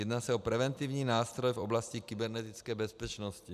Jedná se o preventivní nástroj v oblasti kybernetické bezpečnosti.